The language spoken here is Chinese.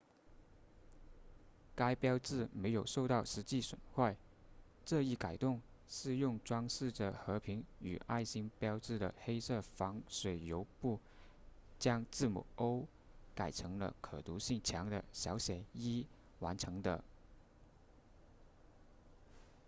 该标志没有受到实际损坏这一改动是用装饰着和平与爱心标志的黑色防水油布将字母 o 改成了可读性强的小写 e 完成的